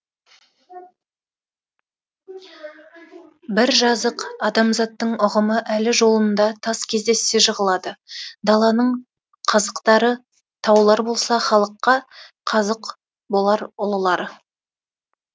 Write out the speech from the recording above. бір жазық адамзаттың ұғымы әлі жолында тас кездессе жығылады даланың қазықтары таулар болса халыққа қазық болар ұлылары